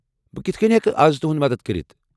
بہٕ کِتھہٕ كٕنۍ ہیكہٕ اَز تُہُند مدتھ كرِتھ ؟